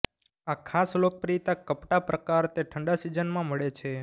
આ ખાસ લોકપ્રિયતા કપડાં પ્રકાર તે ઠંડા સિઝનમાં મળે છે